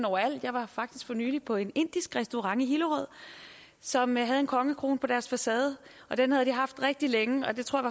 overalt jeg var faktisk for nylig på en indisk restaurant i hillerød som havde en kongekrone på deres facade den havde de haft rigtig længe og det tror